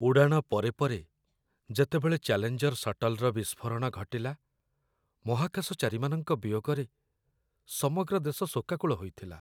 ଉଡ଼ାଣ ପରେ ପରେ ଯେତେବେଳେ ଚାଲେଞ୍ଜର ସଟଲ୍‌ର ବିସ୍ଫୋରଣ ଘଟିଲା, ମହାକାଶଚାରୀମାନଙ୍କ ବିୟୋଗରେ ସମଗ୍ର ଦେଶ ଶୋକାକୁଳ ହୋଇଥିଲା।